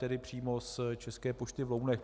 Tedy přímo z České pošty v Lounech.